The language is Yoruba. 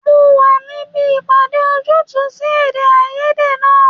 Mo wà níbi ìpàdé ojútùú sí èdè-áiyedé náà.